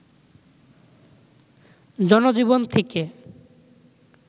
জনজীবন থেকে